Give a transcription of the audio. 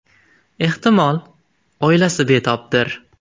Ehtimol, oilasi betobdir.